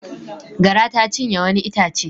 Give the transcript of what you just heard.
Gara ta cinye wani itace.